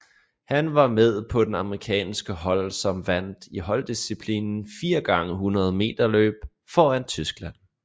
Han var med på det amerikanske hold som vandt i holddisciplinen 4 x 100 meterløb foran Tyskland